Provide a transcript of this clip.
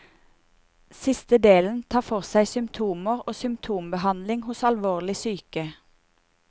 Siste delen tar for seg symptomer og symtombehandling hos alvorlig syke.